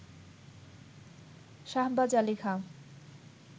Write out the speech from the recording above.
Shahbaz Ali Khan